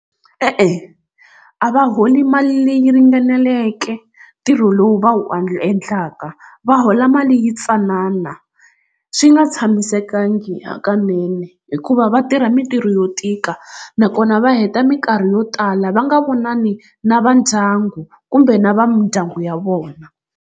E-e a va holi mali leyi ringaneleke ntirho lowu va wu endlaka va hola mali yintsanana swi nga tshamisekangi hakanene hikuva va tirha mintirho yo tika nakona va heta minkarhi yo tala va nga vonani na va ndyangu kumbe na va mindyangu ya vona.